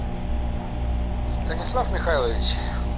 станислав михайлович